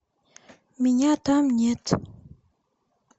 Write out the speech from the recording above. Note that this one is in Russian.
меня там нет